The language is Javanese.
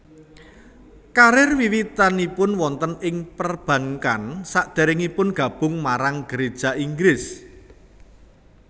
Karir wiwitanipun wonten ing perbankan sadèrèngipun gabung marang Geréja Inggris